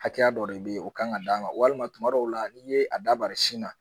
Hakɛya dɔ de bɛ ye o kan ka d'a ma walima tuma dɔw la n'i ye a da bari sin na